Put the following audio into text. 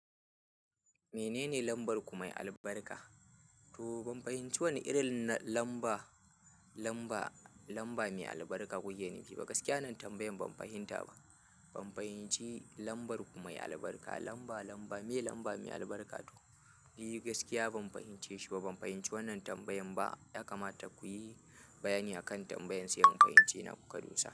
Menene lambar ku mai albarka? To ban fahimci wannan irin lamba, lamba, lamba mai albarka ku ke nufi ba. Gaskiya wannan tambayan ban fahimta ba. Ban fahimci lambar ku mai albarka, lamba, lamba, me lamba mai albarka? To, ni gaskiya ban fahimce shi ba. Ban fahimci wannan tambayan ba. Ya kamata ku yi bayani akan tambayan sai in fahimce ina kuka dosa.